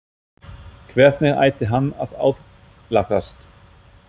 Hvernig ætti hann að aðlagast?